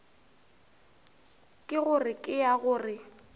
ke gore ke ra gore